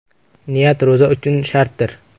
Niyat ro‘za uchun shartdir.